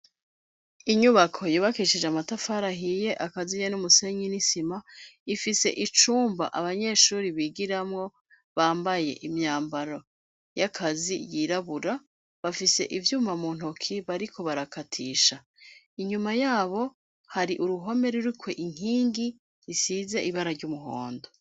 Inyubako yubakishije amatafari ahiye akaziye n'umusenyi n'isima ifise icumba abanyeshuri bigiramwo bambaye imyambaro y'akazi yirabura bafise ivyuma muntoke bariko barakatisha. Inyuma yabo hari uruhome rurikwo inkingi isize ibara ry'umuhondo.